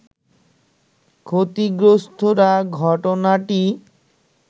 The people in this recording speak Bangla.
ক্ষতিগ্রস্তরা ঘটনাটি